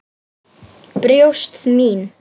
Brjóst mín.